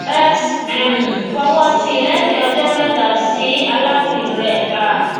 x um fowọsí lẹyìn ọjọ mẹta sí aláwìn rẹ a